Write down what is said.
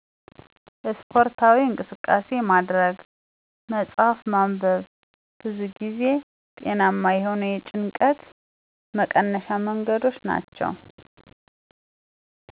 ስፖርታዊ እንቅስቃሴ ማድረግ፣ መፅሐፍ ማንበብ ብዙ ጊዜ ጤናማ የሆኑ የጭንቀት መቀነሻ መንገዶች ናቸው።